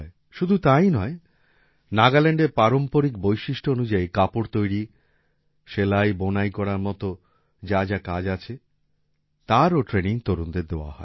শুধু তাই নয় নাগাল্যান্ডের পারম্পরিক বৈশিষ্ট্য অনুযায়ী কাপড় তৈরী সেলাইবোনাই করার মত যা যা কাজ আছে তারও ট্রেনিং তরুণদের দেয়া হয়